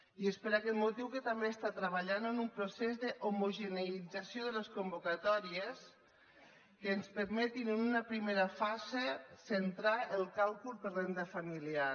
i és per aquest motiu que també treballa en un procés d’homogeneïtzació de les convocatòries que ens permeti en una primera fase centrar el càlcul per renda familiar